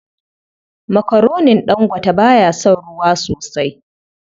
Makaronin Dangote ba ya son ruwa sosai.